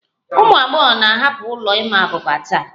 Ụmụ agbọghọ na-ahapụ ụlọ ịma abuba taa